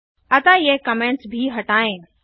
अतः ये कमेन्ट्स भी हटाएँ